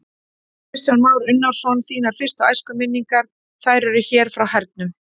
Kristján Már Unnarsson: Þínar fyrstu æskuminningar, þær eru hér frá hernum?